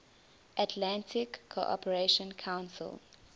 atlantic cooperation council